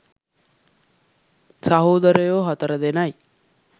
සහෝදරයො හතර දෙනයි.